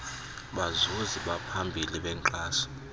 bazuzi baphambili benkxaso